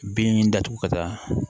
Bin datugu ka taa